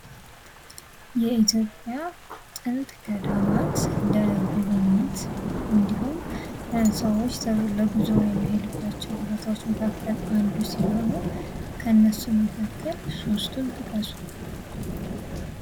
የኢትዮጵያ ጥንት ገዳማት ለጉብኝት እንዲሁም ለሰዎች ጉዞ ከሚሄዱባቸውም ቦታዎች መካከል አንዱ ሲሆኑ ከእነርሱም መካከል ሶስቱን ጥቀሱ